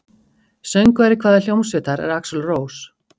Söngvari hvaða hljómsveitar er Axl Rose?